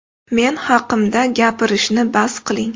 Men haqimda gapirishni bas qiling.